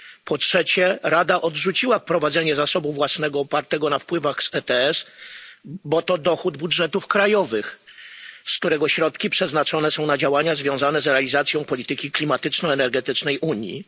Po trzecie, Rada odrzuciła wprowadzenie zasobu własnego opartego na wpływach z ETS, bo to dochód budżetów krajowych, z którego środki przeznaczone są na działania związane z realizacją polityki klimatyczno energetycznej Unii.